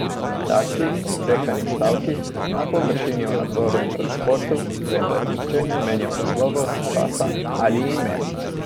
Kratki, odsekani stavki, na površini o nadzoru in transportu, vendar nihče ni omenjal naslovov, časa ali imen.